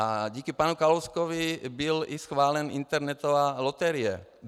A díky panu Kalouskovi byla schválena i internetová loterie.